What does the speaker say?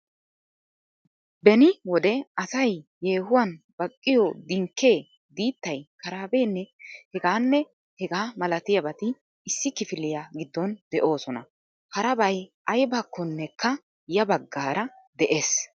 Beni wode asay yehuwan baqqiyo dinkke, diittay, karabenne heganne hegaa malatiyaabati issi kifiliyaa giddon de'oosona. Harabay aybbakkonekka ya baggaara de'ees.